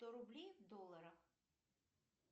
сто рублей в долларах